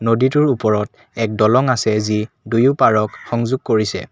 নদীবোৰ ওপৰত এক দলং আছে যি দুয়োপাৰক সংযোগ কৰিছে।